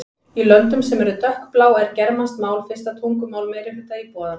Í löndum sem eru dökkblá er germanskt mál fyrsta tungumál meirihluta íbúanna.